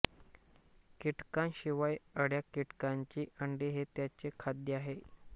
कीटकांशिवाय अळ्या कीटकांची अंडी हे याचे खाद्य आहे